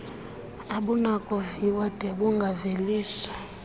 abunakuviwa d bungaveliswa